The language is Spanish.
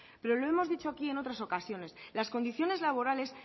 pero lo hemos dicho aquí en otras ocasiones las condiciones laborales